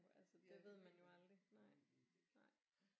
Altså det ved man jo aldrig nej nej